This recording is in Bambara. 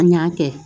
N y'a kɛ